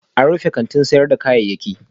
An rufe kantin sayar da kayayyaki